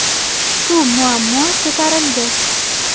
Shu muammo ko‘tarildi.